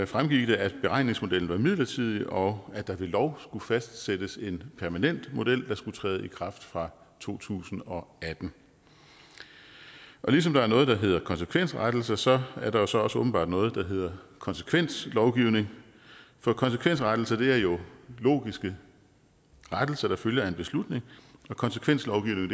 fremgik det at beregningsmodellen var midlertidig og at der ved lov skulle fastsættes en permanent model der skulle træde i kraft fra to tusind og atten og ligesom der er noget der hedder konsekvensrettelser så er der så også åbenbart noget der hedder konsekvenslovgivning for konsekvensrettelser er jo logiske rettelser der følger af en beslutning og konsekvenslovgivning